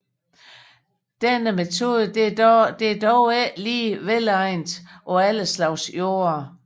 Denne metode er dog ikke lige velegnet på alle slags jorder